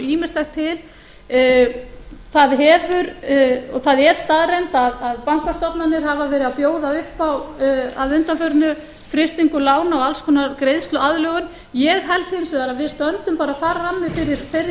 ýmislegt til það er staðreynd að bankastofnanir hafa verið að bjóða upp á að undanförnu frystingu lána og alls konar greiðsluaðlögun ég held hins vegar að við stöndum bara frammi fyrir þeirri